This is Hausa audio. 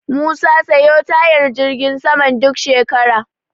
Musa sayo tayar jirgin saman duk shekara.